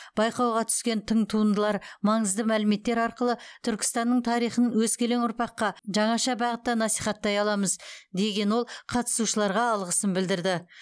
байқауға түскен тың туындылар маңызды мәліметтер арқылы түркістанның тарихын өскелең ұрпаққа жаңаша бағытта насихаттай аламыз деген ол қатысушыларға алғысын білдірді